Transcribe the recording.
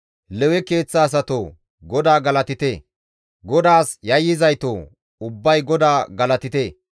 Lewe keeththa asatoo! GODAA galatite; GODAAS yayyizaytoo! Ubbay GODAA galatite.